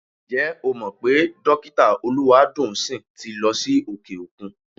Ǹjẹ́ o mọ̀ pé Dọ́kítà Olúwadùnńsìn ti lọ sí òkè-òkun?